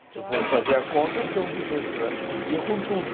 Se for fazer a conta, são duzentos reais por dia com tudo.